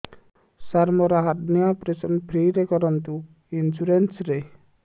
ସାର ମୋର hernia operation free ରେ କରନ୍ତୁ ଇନ୍ସୁରେନ୍ସ ରେ